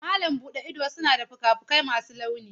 Malam buɗe ido suna da fuka-fukai masu launi.